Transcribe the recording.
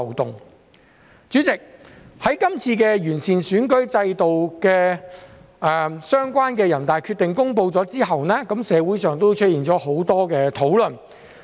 代理主席，在全國人民代表大會公布關於完善選舉制度的決定後，社會上出現了很多討論。